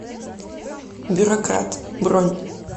бюрократ бронь